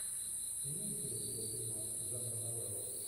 имеется ли у тебя фильмас жанра новелла